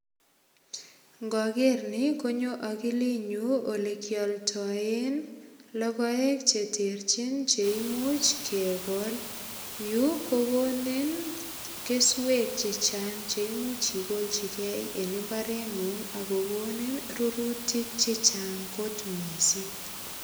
Ngoger ni konyo agilinyun olekialdoen logoek che terchin che imuch kegol. Yu ko gonin keswek che chang che imuch igolchige en imbarengung ak kogonin rurutik che chang kot mising.